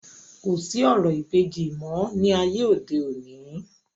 kò sí orò ìbejì mọ́ ní ayé òde òni